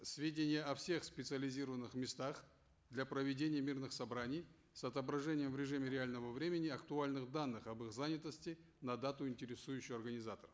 сведения о всех специализированных местах для проведения мирных собраний с отображением в режиме реального времени актуальных данных об их занятости на дату интересующую организаторов